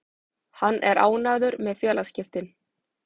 Hann er ánægður með félagaskiptin.